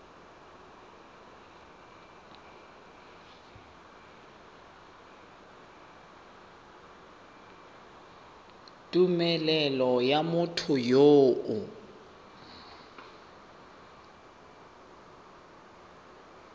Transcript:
tumelelo ya motho yo o